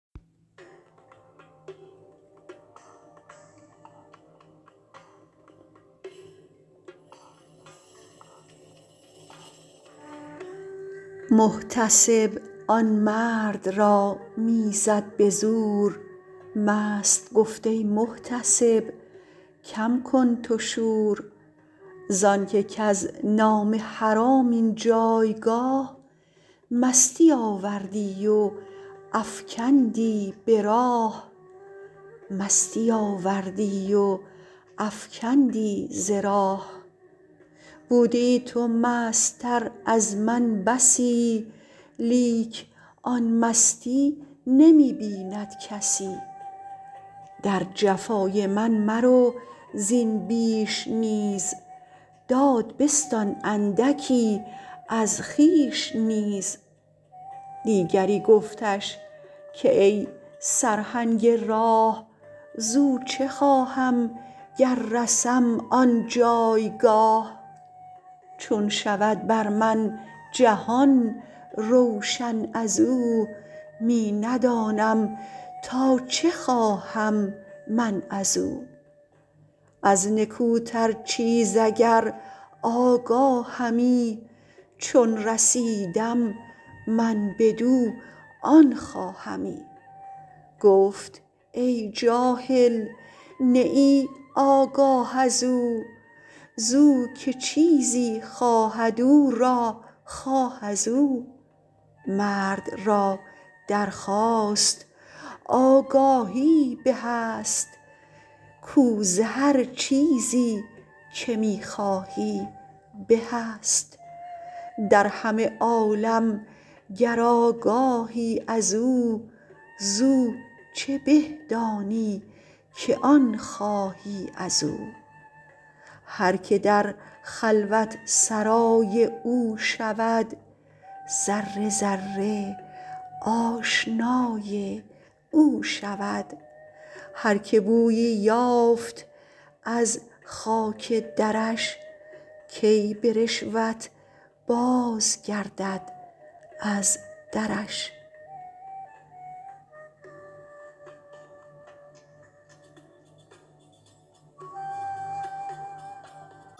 محتسب آن مرد را می زد به زور مست گفت ای محتسب کم کن تو شور زانک کز نام حرام این جایگاه مستی آوردی و افکندی ز راه بودیی تو مست تر از من بسی لیک آن مستی نمی بیند کسی در جفای من مرو زین بیش نیز داد بستان اندکی از خویش نیز دیگری گفتش که ای سرهنگ راه زو چه خواهم گر رسم آن جایگاه چون شود بر من جهان روشن ازو می ندانم تا چه خواهم من ازو از نکوتر چیز اگر آگاهمی چون رسیدم من بدو آن خواهمی گفت ای جاهل نه ای آگاه ازو زو که چیزی خواهد او را خواه ازو مرد را درخواست آگاهی به است کو زهر چیزی که می خواهی به است در همه عالم گر آگاهی ازو زو چه به دانی که آن خواهی ازو هرک در خلوت سرای او شود ذره ذره آشنای او شود هرک بویی یافت از خاک درش کی به رشوت بازگردد از درش